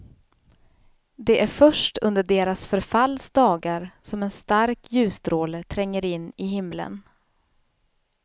Det är först under deras förfalls dagar som en stark ljusstråle tränger in i himlen.